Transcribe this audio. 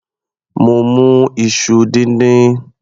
Mo mu iṣu díndín.